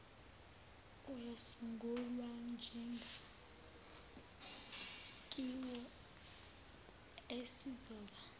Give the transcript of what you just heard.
uyasungulwa njengsakhiwo esizoba